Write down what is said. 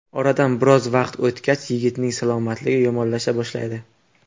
Oradan biroz vaqt o‘tgach, yigitning salomatligi yomonlasha boshlaydi.